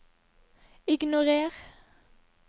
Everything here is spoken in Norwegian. ignorer